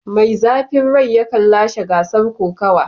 Mai zafin rai yakan lashe gasar kokawa.